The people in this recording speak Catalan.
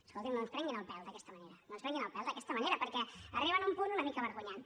escoltin no ens prenguin el pèl d’aquesta manera no ens prenguin el pèl d’aquesta manera perquè arriben a un punt una mica vergonyant